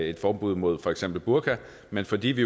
et forbud mod for eksempel burka men fordi vi